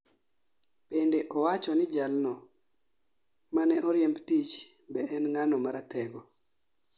Bende owacho ni jal no mane oriemb tich be en ng'ano maratego